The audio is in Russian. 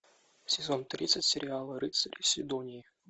сезон тридцать сериала рыцари сидонии